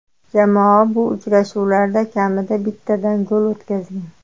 Jamoa bu uchrashuvlarda kamida bittadan gol o‘tkazgan.